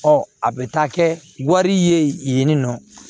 Ɔ a bɛ taa kɛ wari ye yen nɔ